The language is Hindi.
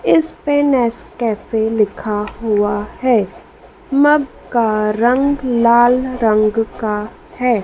इस पे नेस्कैफे लिखा हुआ है मग का रंग लाल रंग का है।